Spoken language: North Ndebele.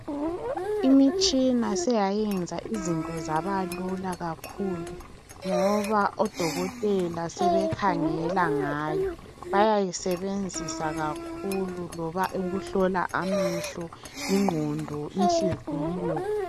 Imitshina seyayenza izinto zabalula kakhulu ngoba odokotela sebekhangela ngayo. Bayayisebenzisa kakhulu loba ukuhlola amehlo, ingqondo, inhliziyo...